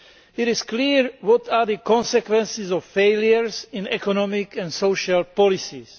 It is clear what will be the consequences of failure in economic and social policies.